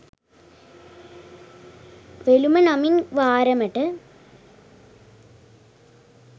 වෙළුම නමින් වාරමට